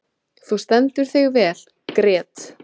Þú stendur þig vel, Grét!